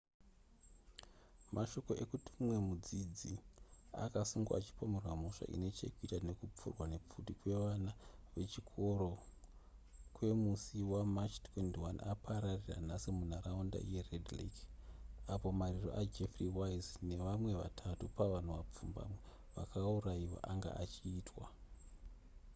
mashoko ekuti mumwe mudzidzi akasungwa achipomerwa mhosva ine chekuita nekupfurwa nepfuti kwevana vechikoro kwemusi wamarch 21 apararira nhasi munharaunda yered lake apo mariro ajeff weise nevamwe vatatu pavanhu vapfumbamwe vakaurayiwa anga achiitwa